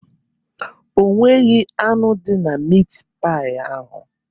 Onweghị anụ dị na mit pai ahụ.